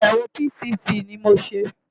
Àyẹ̀wò PCV ni mo ṣe.